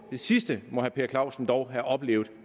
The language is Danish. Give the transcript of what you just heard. sidste må herre per clausen dog have oplevet